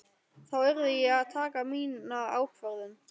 Þá yrði ég að taka mína ákvörðun.